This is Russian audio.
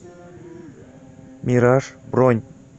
мираж бронь